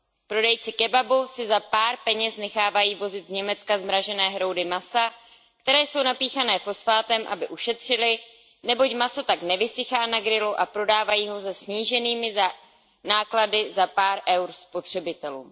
Prodejci kebabu si za pár peněz nechávají vozit z Německa zmražené hroudy masa, které jsou napíchané fosfátem, aby ušetřili, neboť maso tak nevysychá na grilu a prodávají ho se sníženými náklady za pár eur spotřebitelům.